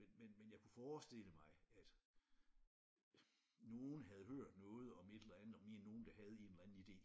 Men men men jeg kunne forestille mig at nogen havde hørt noget om et eller andet om en nogen der havde en eller anden idé